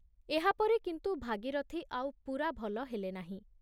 ଏହାପରେ କିନ୍ତୁ ଭାଗୀରଥି ଆଉ ପୂରା ଭଲ ହେଲେନାହିଁ।